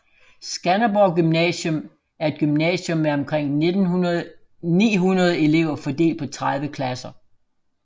Skanderborg Gymnasium er et gymnasium med omkring 900 elever fordelt på 30 klasser